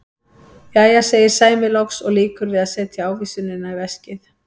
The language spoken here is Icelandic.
Jæja, segir Sæmi loks og lýkur við að setja ávísunina í veskið.